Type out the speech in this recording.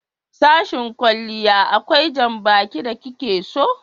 Sashen kwalliya akwai janbaki da ki ke so